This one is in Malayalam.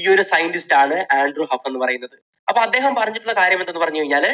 ഈയൊരു scientist ആൻഡ്രൂ ഹഫ് എന്ന് പറയുന്നത്. അപ്പോൾ അദ്ദേഹം പറഞ്ഞിട്ടുള്ള കാര്യം എന്തെന്ന് പറഞ്ഞു കഴിഞ്ഞാൽ